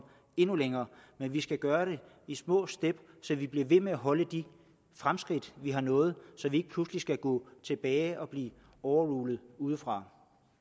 endnu længere men vi skal gøre det i små step så vi bliver ved med at holde de fremskridt vi har nået og så vi ikke pludselig skal gå tilbage og blive overrulet udefra